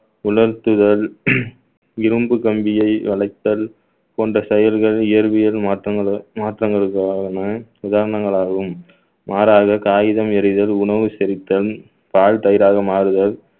உணர்த்துதல் இரும்பு கம்பியை வளைத்தல் போன்ற செயல்கள் இயற்பியல் மாற்றங்களு~ மாற்றங்களுக்கான உதாரணங்களாகவும் மாறாக காகிதம் எரிதல், உணவு செரித்தல், பால் தயிராக மாறுதல்